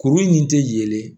Kuru in tɛ yelen